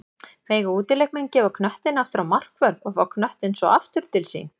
Mega útileikmenn gefa knöttinn aftur á markvörð og fá knöttinn svo aftur til sín?